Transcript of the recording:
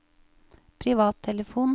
privattelefon